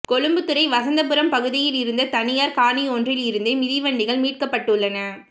கொழும்புத்துறை வசந்தபுரம் பகுதியில் இருந்த தனியார் காணியொன்றில் இருந்தே மிதிவெடிகள் மீட்கப்பட்டுள்ளன